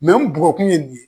n bugɔkun mun ye.